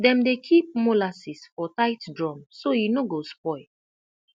dem dey keep molasses for tight drum so e no go spoil